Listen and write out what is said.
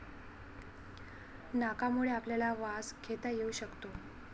नाकामुळे आपल्याला वास घेता येऊ शकतो.